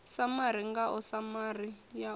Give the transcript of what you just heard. samari ngao samari yanu i